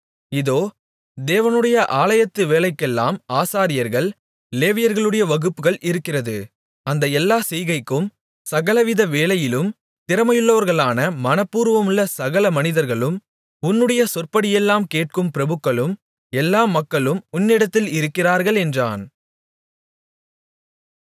இதோ தேவனுடைய ஆலயத்து வேலைக்கெல்லாம் ஆசாரியர்கள் லேவியர்களுடைய வகுப்புகள் இருக்கிறது அந்த எல்லா செய்கைக்கும் சகலவித வேலையிலும் திறமையுள்ளவர்களான மனப்பூர்வமுள்ள சகல மனிதர்களும் உன்னுடைய சொற்படியெல்லாம் கேட்கும் பிரபுக்களும் எல்லா மக்களும் உன்னிடத்தில் இருக்கிறார்கள் என்றான்